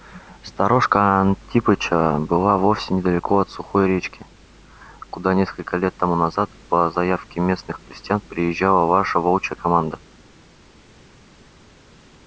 сторожка антипыча была вовсе недалеко от сухой речки куда несколько лет тому назад по заявке местных крестьян приезжала наша волчья команда